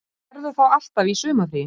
Maður verður þá alltaf í sumarfríi